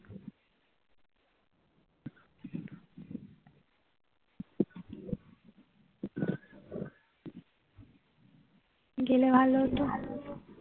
গেলে ভালো হতো